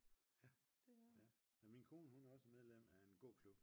Ja ja jamen min kone hun er også medlem af en gå klub